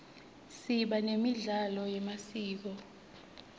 siba nemidlalo yemasiko